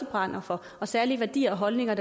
brænder for og særlige værdier og holdninger